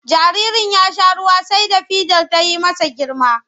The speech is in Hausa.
Jaririn ya sha ruwa sai da fidar ta yi masa girma.